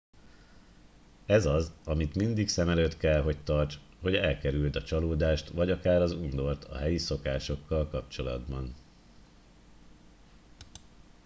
ez az amit mindig szem előtt kell hogy tarts hogy elkerüld a csalódást vagy akár az undort a helyi szokásokkal kapcsolatban